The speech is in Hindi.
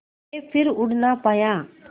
के फिर उड़ ना पाया